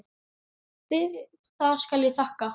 Fyrir það skal hér þakkað.